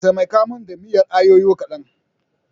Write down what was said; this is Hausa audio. Taimaka min da miyar ayoyo kadan.